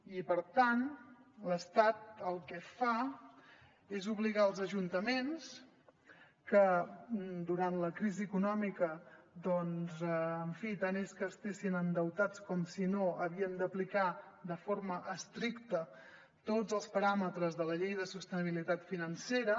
i per tant l’estat el que fa és obligar els ajuntaments que durant la crisi econòmica doncs en fi tant és que estiguessin endeutats com si no havien d’aplicar de forma estricta tots els paràmetres de la llei de sostenibilitat financera